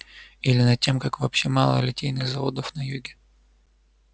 или над тем как вообще мало литейных заводов на юге